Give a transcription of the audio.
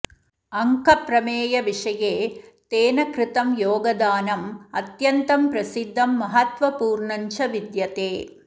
अङ्कप्रमेयविषये तेन कृतं योगदानम् अत्यन्तं प्रसिद्धं महत्त्वपूर्णञ्च विद्यते